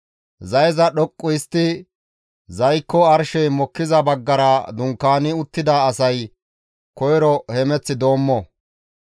Zayeza dhoqqu histti zaykko arshey mokkiza baggara dunkaani uttida asay koyro hemeth doommo.